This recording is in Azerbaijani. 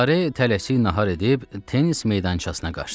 Lare tələsik nahar edib tennis meydançasına qaçdı.